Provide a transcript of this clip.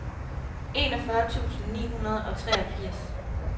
enogfyrre tusind ni hundrede og treogfirs